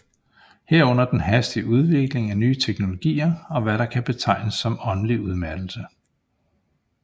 Herunder den hastige udvikling af nye teknologier og hvad der kan betegnes som åndelig udmattelse